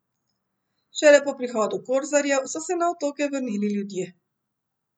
Šele po prihodu korzarjev so se na otoke vrnili ljudje.